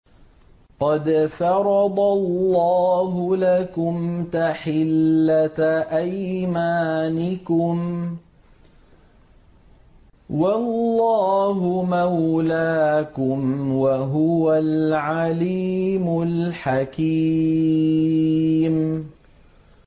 قَدْ فَرَضَ اللَّهُ لَكُمْ تَحِلَّةَ أَيْمَانِكُمْ ۚ وَاللَّهُ مَوْلَاكُمْ ۖ وَهُوَ الْعَلِيمُ الْحَكِيمُ